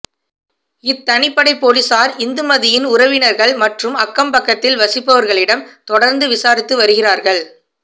இத்தனிப்படை போலீசார் இந்துமதியின் உறவினர்கள் மற்றும் அக்கம் பக்கத்தில் வசிப்பவர்களிடம் தொடர்ந்து விசாரித்து வருகிறார்கள்